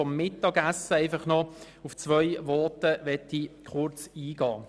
Ich möchte aber kurz auf zwei Voten eingehen.